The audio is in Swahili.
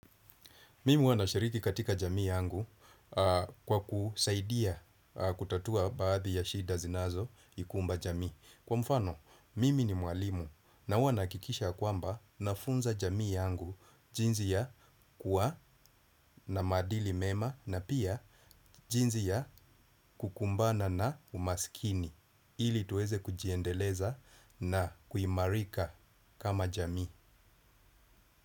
Mimi huwana shiriki katika jamii yangu kwa kusaidia kutatua baadhi ya shida zinazo ikumba jamii. Kwa mfano, mimi ni mwalimu na huwana kikisha kwamba na funza jamii yangu jinzi ya kuwa na madili mema na pia jinzi ya kukumbana na umaskini. Ili tuweze kujiendeleza na kuimarika kama jamii.